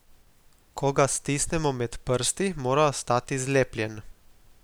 Ko ga stisnemo med prsti, mora ostati zlepljeno.